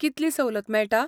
कितली सवलत मेळटा?